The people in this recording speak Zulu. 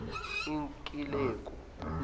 ikileku